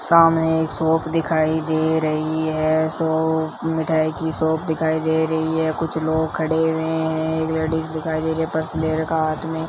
सामने एक शॉप दिखाई दे रही है शॉप मिठाई की शॉप दिखाई दे रही है कुछ लोग खड़े हुए हैं एक लेडिस दिखाई दे रही है पर्स ले रखा है हाथ में --